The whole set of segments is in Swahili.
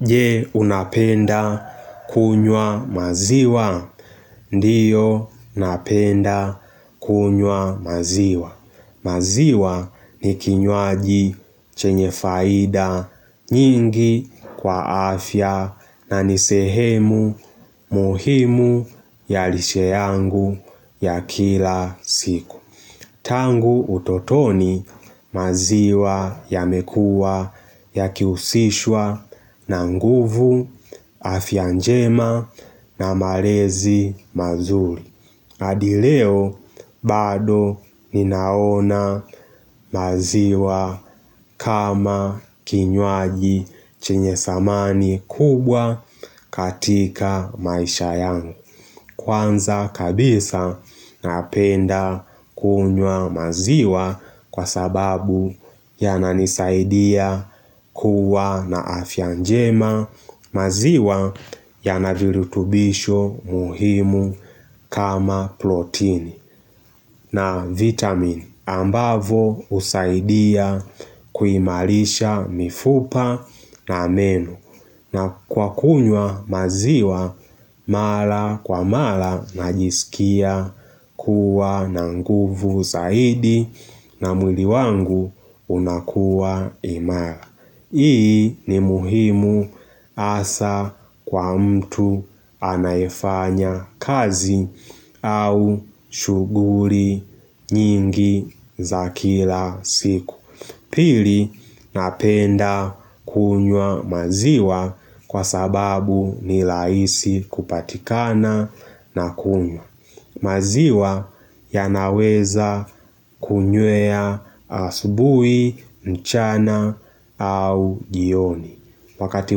Je unapenda kunywa maziwa, ndio napenda kunywa maziwa. Maziwa ni kinywaji chenye faida nyingi kwa afya na nisehemu muhimu ya liche yangu ya kila siku. Tangu utotoni maziwa yamekuwa ya kiusishwa na nguvu afya njema na malezi mazuri. Hadi leo bado ninaona maziwa kama kinywaji chenye samani kubwa katika maisha yangu. Kwanza kabisa napenda kunywa maziwa kwa sababu ya nanisaidia kuwa na afyanjema maziwa ya na virutubisho muhimu kama plotini na vitamine. Ambavo usaidia kuimarisha mifupa na meno na kwa kunywa maziwa mara kwa mara najisikia kuwa na nguvu saidi na mwili wangu unakuwa imara. Hii ni muhimu asa kwa mtu anayefanya kazi au shughuli nyingi za kila siku Pili napenda kunywa maziwa kwa sababu ni rahisi kupatikana na kunywa maziwa ya naweza kunywea asubuhi, mchana au jioni. Wakati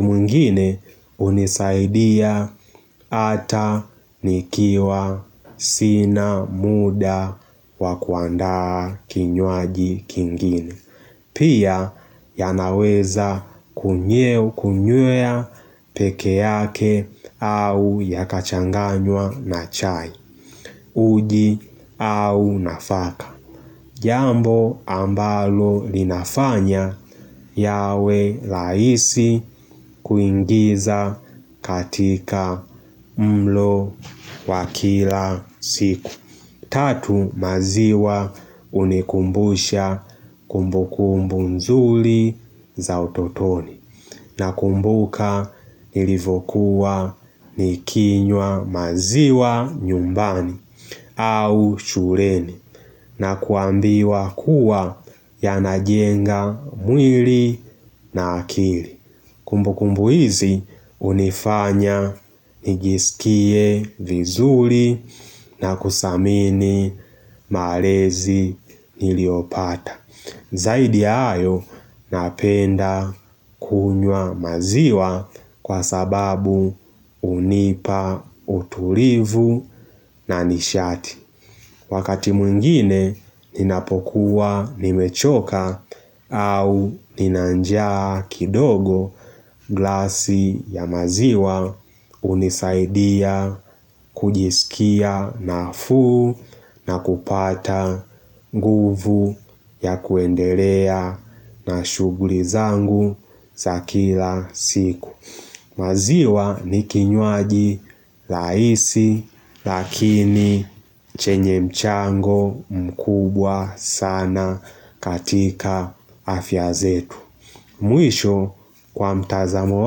mwigine unisaidia ata nikiwa sina muda wakuanda kinywaji kingini. Pia ya naweza kunywea kunywea pekee yake au yakachanganywa na chai. Uji au nafaka. Jambo ambalo linafanya yawe rahisi kuingiza katika mlo wa kila siku. Tatu maziwa unikumbusha kumbu kumbu mzuri za ototoni na kumbuka ilivokuwa nikinywa maziwa nyumbani au shuleni na kuambiwa kuwa yanajenga mwili na akili. Kumbu kumbu hizi unifanya nijisikie vizuri na kusamini malezi niliopata. Zaidi ya hayo napenda kunywa maziwa kwa sababu unipa utulivu na nishati. Wakati mwngine ninapokuwa nimechoka au ninanjaa kidogo glasi ya maziwa unisaidia kujisikia na fuu na kupata nguvu ya kuendelea na shughuli zangu za kila siku. Maziwa ni kinywaji rahisi lakini chenye mchango mkubwa sana katika afya zetu. Mwisho kwa mtazamo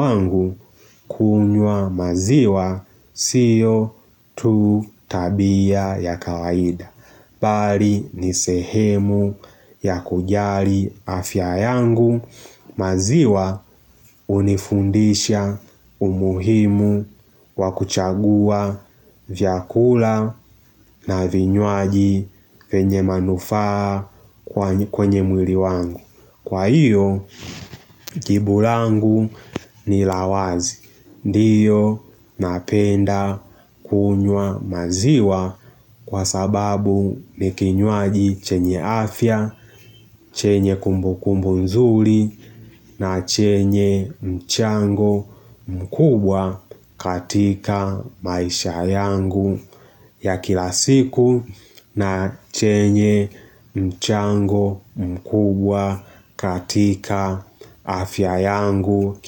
wangu kunywa maziwa sio tu tabia ya kawaida. Bali ni sehemu ya kujali afya yangu maziwa unifundisha umuhimu wa kuchagua vyakula na vinyuaji venye manufaa kwenye mwili wangu. Kwa hiyo, jibu langu ni la wazi. Ndio napenda kunywa maziwa kwa sababu ni kinywaji chenye afya, chenye kumbu kumbu nzuri na chenye mchango mkubwa katika maisha yangu. Ya kila siku na chenye mchango mkubwa katika afya yangu.